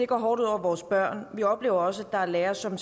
går hårdt ud over vores børn og vi oplever også at der er lærere som